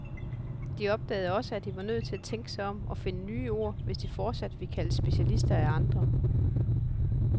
De opdagede også, at de var nødt til at tænke sig om og finde nye ord, hvis de fortsat ville kaldes specialister af andre.